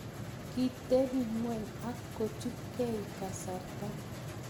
kitebi ng'weny ak kochupei kasarta